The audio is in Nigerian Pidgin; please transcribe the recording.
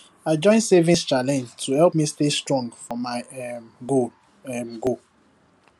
i join savings challenge to help me stay strong for my um goal um goal